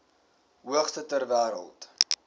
hoogste ter wêreld